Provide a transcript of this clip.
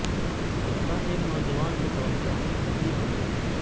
وہ ایک نوجوان کے طور پر اپنی پہلی بنایا